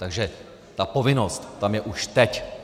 Takže ta povinnost je tam už teď.